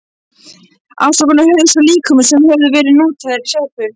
Afskornir hausar af líkömum sem höfðu verið notaðir í sápur.